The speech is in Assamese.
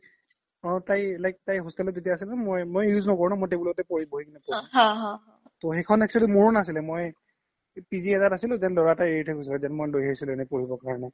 অ তাই like তাই hostel ত যেতিয়া আছিল ন মই use ন্কৰো ন মই table তে বহি কিনে পঢ়ো তো সেইখন actually মোৰো নাছিলে মই পিজি এটাত আছিলো then ল'ৰা এটাই এৰি থই গৈছে then মই লই আহিছিলো এনে পঢ়িব কাৰনে